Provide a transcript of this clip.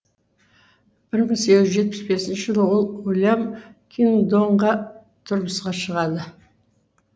бір мың сегіз жүз жетпіс бесінші жылы ол уильям кингдонға тұрмысқа шығады